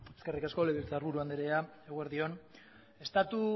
eskerrik asko legebiltzar buru andrea eguerdi on estatu